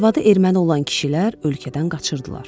Arvadı erməni olan kişilər ölkədən qaçırdılar.